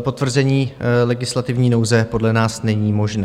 potvrzení legislativní nouze podle nás není možné.